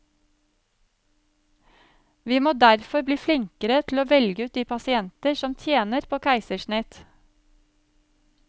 Vi må derfor bli flinkere til å velge ut de pasienter som tjener på keisersnitt.